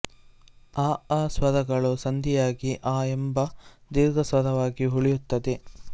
ಅ ಅ ಸ್ವರಗಳು ಸಂಧಿಯಾಗಿ ಆ ಎಂಬ ದೀರ್ಘ ಸ್ವರವಾಗಿ ಉಳಿಯುತ್ತದೆ